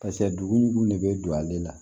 Paseke dugu ni dugu dun de bɛ don ale la